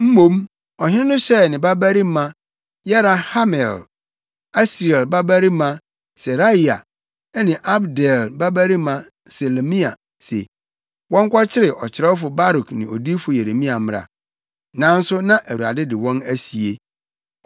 Mmom ɔhene no hyɛɛ ne babarima Yerahmeel, Asriel babarima Seraia ne Abdeel babarima Selemia se, wɔnkɔkyere ɔkyerɛwfo Baruk ne odiyifo Yeremia mmra. Nanso na Awurade de wɔn asie.